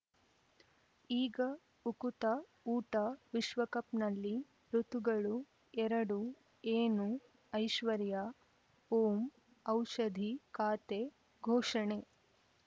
ಈಗ ಉಕುತ ಊಟ ವಿಶ್ವಕಪ್‌ನಲ್ಲಿ ಋತುಗಳು ಎರಡು ಏನು ಐಶ್ವರ್ಯಾ ಓಂ ಔಷಧಿ ಖಾತೆ ಘೋಷಣೆ